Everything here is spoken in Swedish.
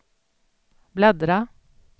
bläddra